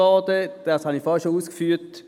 Dies habe ich vorhin schon ausgeführt.